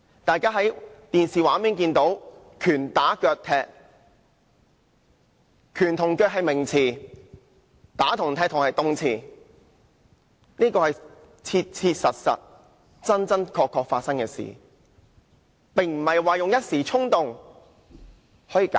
大家在電視機畫面上看到，他們拳打腳踢受害人，"拳"和"腳"是名詞，"打"和"踢"是動詞，這是切切實實、真真確確發生的事，並不能以一時衝動來解釋。